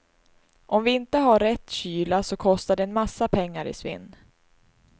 Om vi inte har rätt kyla så kostar det en massa pengar i svinn.